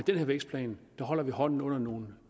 den her vækstplan holder vi hånden under nogle